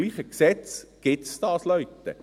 Im selben Gesetz gibt es das, Leute!